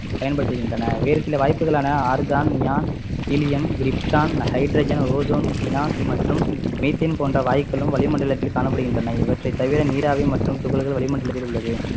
பயன்படுத்துகின்றனர் வேறு சில வாயுக்களான argon, neon, helium, krypton, hydrogen, ozone, xenon மற்றும் methane போன்ற வாயுக்களும் வளிமண்டலத்தில் காணப்படுகின்றன இவற்றை தவிர நீராவி மற்றும் துகள்கள் வளிமண்டலத்தில் உள்ளது